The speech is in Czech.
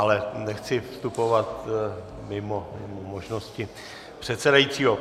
Ale nechci vstupovat mimo možnosti předsedajícího.